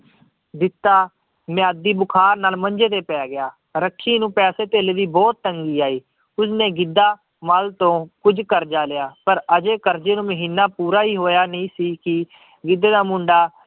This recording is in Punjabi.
ਜਿੱਤਾ ਮਿਆਦੀ ਬੁਖਾਰ ਨਾਲ ਮੰਜੇ ਤੇ ਪੈ ਗਿਆ, ਰੱਖੀ ਨੂੰ ਪੈਸੇ ਧੇਲੇ ਦੀ ਬਹੁਤ ਤੰਗੀ ਆਈ, ਉਸਨੇ ਗਿੱਧਾ ਮਾਲ ਤੋਂ ਕੁੱਝ ਕਰਜ਼ਾ ਲਿਆ ਪਰ ਹਜੇ ਕਰਜ਼ੇ ਨੂੰ ਮਹੀਨਾ ਪੂਰਾ ਹੀ ਹੋਇਆ ਨਹੀਂ ਸੀ, ਕਿ ਗਿੱਧੇ ਦਾ ਮੁੰਡਾ